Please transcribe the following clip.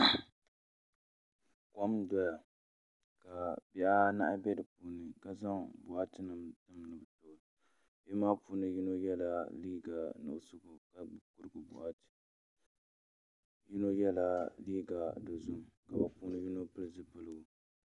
Kom n doya ka bihi anahi bɛ di puuni ka zaŋ boɣati nim tim ni bi toogi bihi maa puuni yino yɛla liiga nuɣso ka gbubi kurigu boɣati yino yɛla liiga dozim ka bi puuni yino pili zipiligu